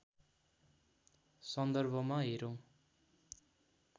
सन्दर्भमा हेरौँ